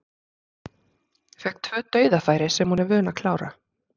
Fékk tvö dauðafæri sem hún er vön að klára.